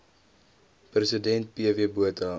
president pw botha